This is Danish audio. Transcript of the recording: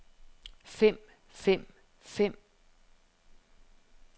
fem fem fem